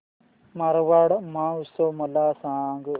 मारवाड महोत्सव मला सांग